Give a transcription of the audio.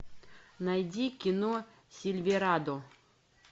найди кино сильверадо